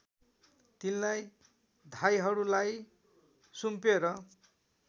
तिनलाई धाइहरूलाई सुम्पेर